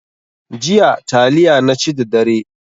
Jiya taliya naci da dare.